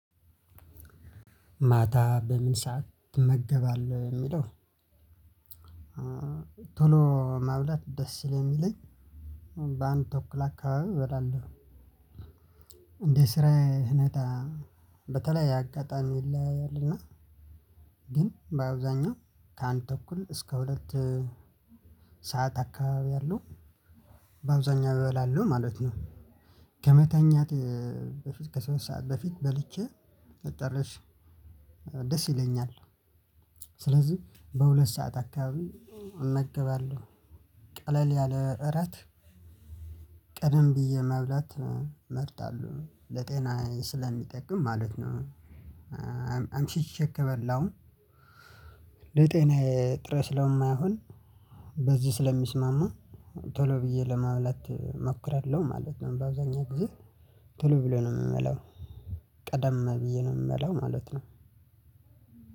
ማታ በምን ሰዓት ትመገባለህ የሚለው? ቶሎ ማብላት ደስ ስለምለኝ። በአንድ ተኩል አካባቢ በላለው። እንደ ስራዬ አይነት በተለይ የአጋጣሚ ይለያያል እና። ግን በአብዛኛው ከአንድ ተኩል እስከ ሁለት ሰዓት አካባቢ ያሉ በአብዛኛው እበላለሁ ማለት ነው። ከመተኛት ከሶስት ሰዓት በፊት በልቼ ብጠርስ ደስ ይለኛል። ስለዚህ በሁለት ሰዓት አካባቢ እመገባለሁ ቀለል ያለ እረት ቀደም ብዬ መብላት እመርጣለሁ ለጤናዬ ስለምጠቅም ማለት ነው። አምሽቼ ከበላውም ጥሬ ስለማይሆን። በዚህ ስለሚስማማ ቶሎ ብዬ ለማለት እሞክራለሁ ማለት ነው። በአብዛኛው ጊዜ ቶሎ ብዬ ነው የምበላው። ቀደም ብዬ ነው የምበላው ማለት ነው።